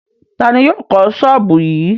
Ta ni yóò kọ́ ṣọ́ọ́bù yìí?